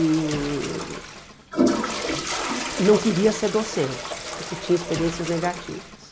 E não queria ser docente, porque tinha experiências negativas.